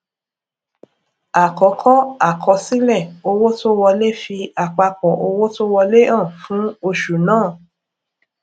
àkọkọ àkọsílẹ owó tó wolẹ fi àpapọ owó tó wọlé hàn fún oṣù náà